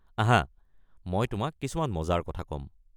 আহা, মই তোমাক কিছুমান মজাৰ কথা ক'ম।